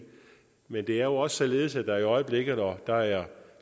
men det er jo også således at der i øjeblikket og der er